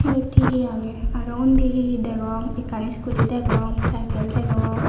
iyot he he age aro undi he he degong ekkan scooty degong cycle degong.